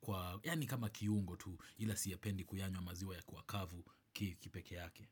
kwa yaani kama kiungo tu ila siyapendi kuyanywabmaziwa kwa kavu kipekee yake.